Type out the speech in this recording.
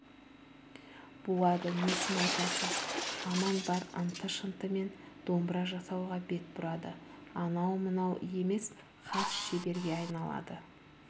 буады несін айтасыз аман бар ынты-шынтымен домбыра жасауға бет бұрады анау-мынау емес хас шеберге айналады